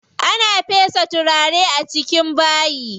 Ana fesa turare a cikin bayi.